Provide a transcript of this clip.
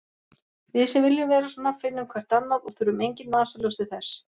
Við sem viljum vera svona finnum hvert annað og þurfum engin vasaljós til þess.